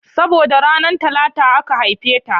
Saboda ranar Talata aka haife ta